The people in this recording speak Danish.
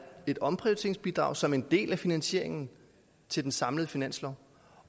et omprioriteringsbidrag som en del af finansieringen til den samlede finanslov